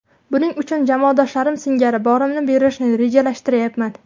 Buning uchun jamoadoshlarim singari borimni berishni rejalashtiryapman.